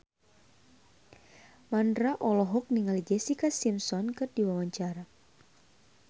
Mandra olohok ningali Jessica Simpson keur diwawancara